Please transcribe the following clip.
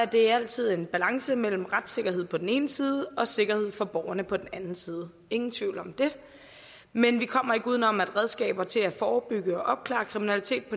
det altid en balance mellem retssikkerhed på den ene side og sikkerhed for borgerne på den anden side ingen tvivl om det men vi kommer ikke uden om at redskaber til at forebygge og opklare kriminalitet